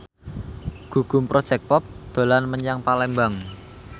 Gugum Project Pop dolan menyang Palembang